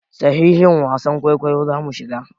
Sashin wasan kwaikwayo zamu shiga.